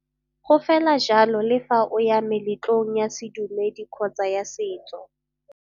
Go fela jalo le fa o ya meletlong ya sedumedi kgotsa ya setso.